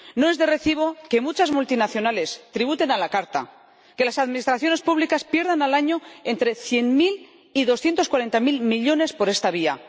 No es de recibo que muchas multinacionales tributen a la carta, que las administraciones públicas pierdan al año entre cien mil y doscientos cuarenta mil millones por esta vía.